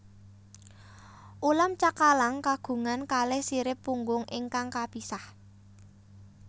Ulam cakalang kagungan kalih sirip punggung ingkang kapisah